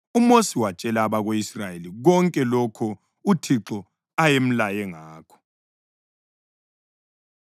UMosi watshela abako-Israyeli konke lokho uThixo ayemlaye ngakho.